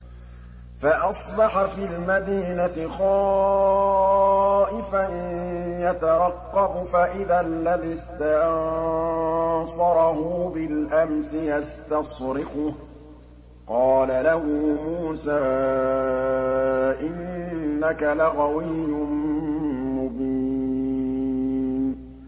فَأَصْبَحَ فِي الْمَدِينَةِ خَائِفًا يَتَرَقَّبُ فَإِذَا الَّذِي اسْتَنصَرَهُ بِالْأَمْسِ يَسْتَصْرِخُهُ ۚ قَالَ لَهُ مُوسَىٰ إِنَّكَ لَغَوِيٌّ مُّبِينٌ